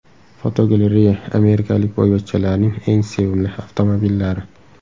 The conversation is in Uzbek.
Fotogalereya: Amerikalik boyvachchalarning eng sevimli avtomobillari.